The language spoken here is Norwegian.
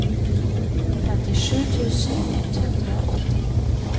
femtisju tusen ett hundre og åtti